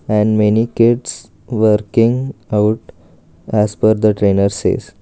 and many kids working out as per the trainer says.